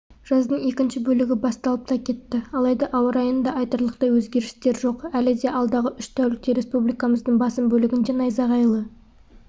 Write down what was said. жаздың екінші бөлігі басталып та кетті алайда ауа райында айтарлықтай өзгерістер жоқ әлі де алдағы үш тәулікте республикамыздың басым бөлігінде найзағайлы